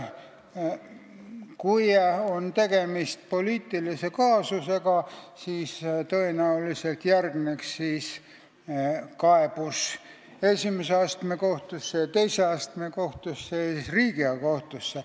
Kui on tegemist poliitilise kaasusega, siis tõenäoliselt järgneb kaebus esimese astme kohtusse, teise astme kohtusse ja siis Riigikohtusse.